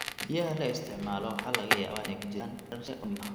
Biyaha la isticmaalo waxaa laga yaabaa inay ku jiraan heerar sare oo kiimiko ah.